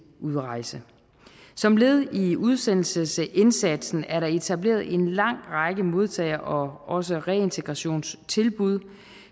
udrejse som led i udsendelsesindsatsen er der etableret en lang række modtage og også reintegrationstilbud